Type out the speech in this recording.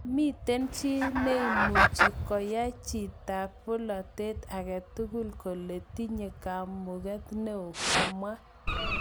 Momiten chi neimuche koyan chitab polotet agatugul kele tinye kamuget neo, kamwa.